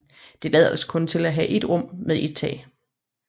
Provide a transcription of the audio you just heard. Det lader til kun at have et rum med et tag